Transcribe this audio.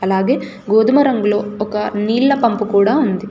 అలాగే గోధుమ రంగులో ఒక నీళ్ళ పంపు కూడా ఉంది.